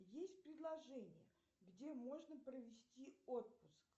есть предложение где можно провести отпуск